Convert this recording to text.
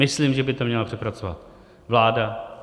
Myslím, že by to měla přepracovat vláda.